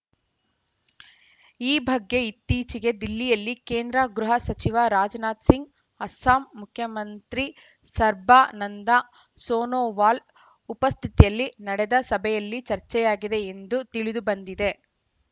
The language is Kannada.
ಈ ಬಗ್ಗೆ ಇತ್ತೀಚೆಗೆ ದಿಲ್ಲಿಯಲ್ಲಿ ಕೇಂದ್ರ ಗೃಹ ಸಚಿವ ರಾಜನಾಥ ಸಿಂಗ್‌ ಅಸ್ಸಾಂ ಮುಖ್ಯಮಂತ್ರಿ ಸರ್ಬಾನಂದ ಸೋನೊವಾಲ್‌ ಉಪಸ್ಥಿತಿಯಲ್ಲಿ ನಡೆದ ಸಭೆಯಲ್ಲಿ ಚರ್ಚೆಯಾಗಿದೆ ಎಂದು ತಿಳಿದುಬಂದಿದೆ